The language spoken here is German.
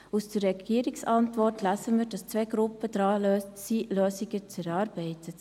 Aus der Antwort der Regierung lesen wir, dass sich zwei Gruppen mit der Erarbeitung einer Lösung beschäftigen.